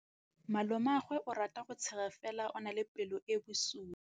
Malomagwe o rata go tshega fela o na le pelo e e bosula.